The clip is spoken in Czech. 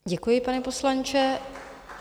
Děkuji, pane poslanče.